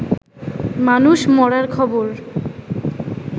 মানুষ মরার খবর